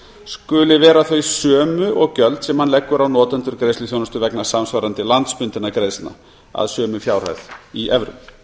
skuli vera þau sömu og gjöld sem hann leggur á notendur greiðsluþjónustu vegna samsvarandi landsbundinna greiðslna að sömu fjárhæð í evrum